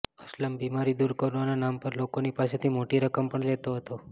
અસલમ બીમારી દૂર કરવાના નામ પર લોકોની પાસેથી મોટી રકમ પણ લેતો હતો